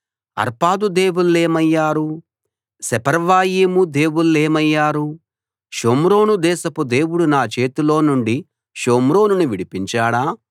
అర్పాదు దేవుళ్ళేమయ్యారు సెపర్వయీము దేవుళ్ళేమయ్యారు షోమ్రోను దేశపు దేవుడు నా చేతిలో నుండి షోమ్రోనును విడిపించాడా